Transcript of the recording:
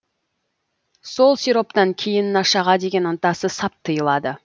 сол сироптан кейін нашаға деген ынтасы сап тыйылады